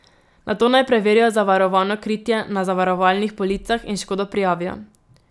Nato naj preverijo zavarovano kritje na zavarovalnih policah in škodo prijavijo.